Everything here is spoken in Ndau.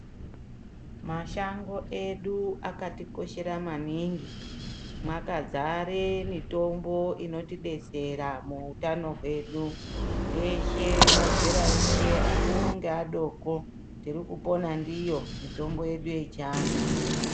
Mashango edu akatikoshera maningi mwakadzare mitombo inotidetsera muutano hwedu teshe mazera eshe akuru neadoko tirikupona ndiyo mitombo yechiantu.